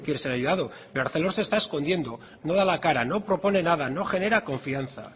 ser ayudado pero arcelor se está escondiendo no da la cara no propone nada no genera confianza